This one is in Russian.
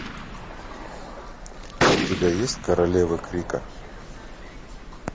у тебя есть королева крика